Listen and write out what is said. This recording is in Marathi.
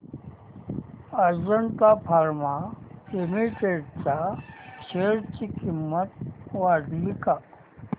अजंता फार्मा लिमिटेड च्या शेअर ची किंमत वाढली का